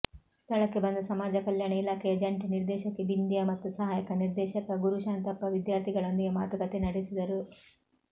ಸ್ಥಳಕ್ಕೆ ಬಂದ ಸಮಾಜ ಕಲ್ಯಾಣ ಇಲಾಖೆಯ ಜಂಟಿ ನಿರ್ದೇಶಕಿ ಬಿಂದ್ಯಾ ಮತ್ತು ಸಹಾಯಕ ನಿರ್ದೇಶಕ ಗುರುಶಾಂತಪ್ಪ ವಿದ್ಯಾರ್ಥಿಗಳೊಂದಿಗೆ ಮಾತುಕತೆ ನಡೆಸಿದರು